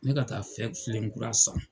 Ne ka taa filen kura san.